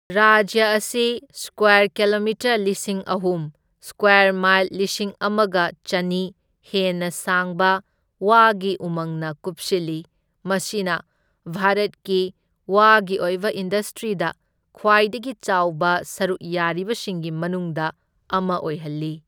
ꯔꯥꯖ꯭ꯌ ꯑꯁꯤ square kilometre ꯂꯤꯁꯤꯡ ꯑꯍꯨꯝ, ꯁꯀ꯭ꯋꯥꯔ ꯃꯥꯏꯜ ꯂꯤꯁꯤꯡ ꯑꯃꯒ ꯆꯟꯅꯤ ꯍꯦꯟꯅ ꯁꯥꯡꯕ ꯋꯥꯒꯤ ꯎꯃꯪꯅ ꯀꯨꯞꯁꯤꯜꯂꯤ, ꯃꯁꯤꯅ ꯚꯥꯔꯠꯀꯤ ꯋꯥꯒꯤ ꯑꯣꯏꯕ ꯏꯟꯗꯁꯇ꯭ꯔꯤꯗ ꯈ꯭ꯋꯥꯏꯗꯒꯤ ꯆꯥꯎꯕ ꯁꯔꯨꯛ ꯌꯥꯔꯤꯕꯁꯤꯡꯒꯤ ꯃꯅꯨꯡꯗ ꯑꯃ ꯑꯣꯏꯍꯜꯂꯤ꯫